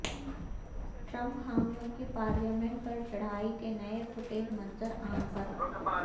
Trump حامیوں کی parliament پر چڑھائی کے نئے فوٹیج منظر عام پر